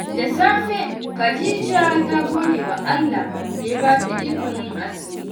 Da safe, Khadija ta gode wa Allah da ya ba ta ikon yin azumi.